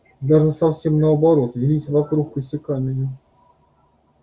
даже совсем наоборот вились вокруг косяками